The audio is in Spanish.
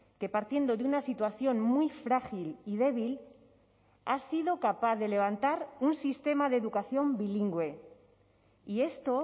que partiendo de una situación muy frágil y débil ha sido capaz de levantar un sistema de educación bilingüe y esto